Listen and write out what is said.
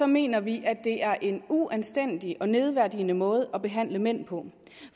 mener vi at det er en uanstændig og nedværdigende måde at behandle mænd på